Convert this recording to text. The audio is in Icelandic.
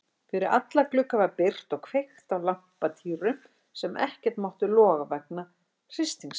Fyrir alla glugga var byrgt og kveikt á lampatýrum sem ekkert máttu loga vegna hristingsins.